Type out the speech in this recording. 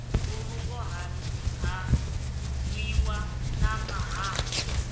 mbulungo ha nwiwa na mahalwa